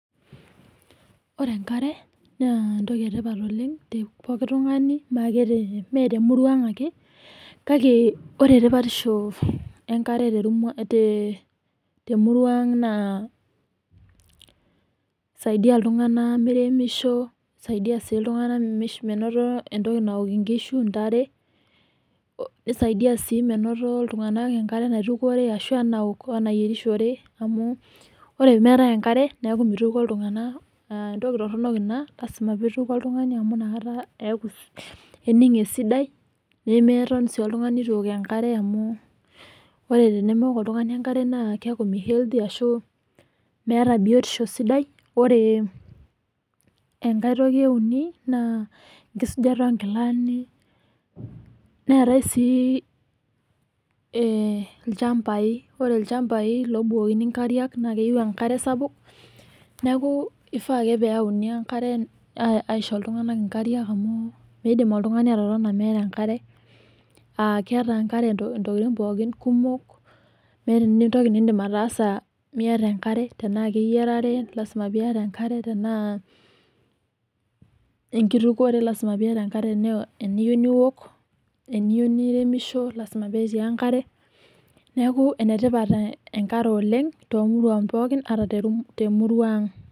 Ore enkare naa entoki etipat oleng tepoki tungani meake , mee temurua anga ake kake ore tipatisho enkare temurua ang , naa kisaidia iltunganak kisaidia sii iltunganak menoto entoki naok inkishu, intare , nisaidia sii menoto iltunganak enkare naitukore wenaok wenayierishore amu ore meetae enkare neaku mitukuo iltunganak , entoki toronok ina , lasima pitukuo oltungani amu inakata ening esidai , nemeton sii oltungani itu eok enkare amu ore tenemeok oltungani enkare naa keaku mihealthty ashu meata biotisho sidai . Ore enkae toki euni naa enkisujata onkilani .Neetae sii ilchambae , ore ilchambai lobukokini nkariak sapuk .